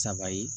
Saba ye